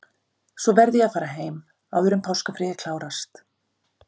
Svo verð ég að fara heim, áður en páskafríið klárast.